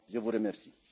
Je vous remercie